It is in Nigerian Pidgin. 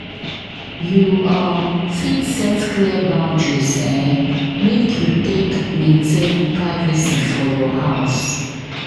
You um fit set clear boundaries um make you take tmaintain privacy for your house.